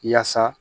Yaasa